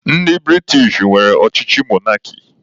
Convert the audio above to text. Ndị British nwere ọchịchị mọnarki.